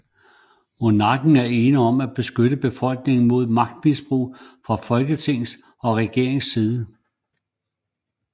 Monarken er ene om at beskytte befolkningen mod magtmisbrug fra Folketings og regerings side